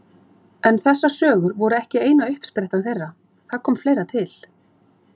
Svona líka æðislega djúsí!